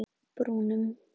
Brúnum